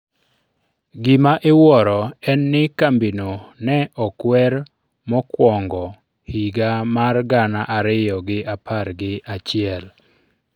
gima iwuoro en ni kambino ne okwer mokwongo-higa mar gana ariyo gi apar gi achiel